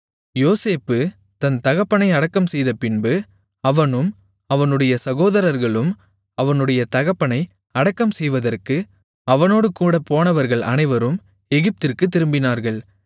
யோசேப்பு தன் தகப்பனை அடக்கம்செய்தபின்பு அவனும் அவனுடைய சகோதரர்களும் அவனுடைய தகப்பனை அடக்கம்செய்வதற்கு அவனோடுகூடப் போனவர்கள் அனைவரும் எகிப்திற்குத் திரும்பினார்கள்